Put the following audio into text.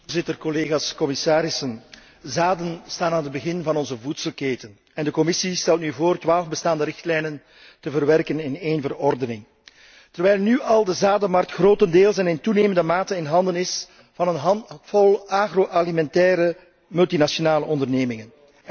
Voorzitter, collega's, commissarissen, zaden staan aan het begin van onze voedselketen en de Commissie stelt nu voor twaalf bestaande richtlijnen te verwerken in één verordening, terwijl nu al de zadenmarkt grotendeels en in toenemende mate in handen is van een handvol agroalimentaire multinationale ondernemingen.